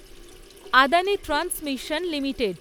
Adani transmission limited